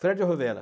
Fred Rovella.